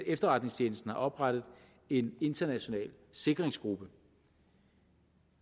efterretningstjenesten har oprettet en international sikringsgruppe